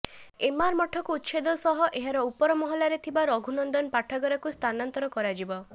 ଏମାର ମଠକୁ ଉଚ୍ଛେଦ ସହ ଏହାର ଉପର ମହଲାରେ ଥିବା ରଘୁନନ୍ଦନ ପାଠାଗାରକୁ ସ୍ଥାନାନ୍ତର କରାଯିବ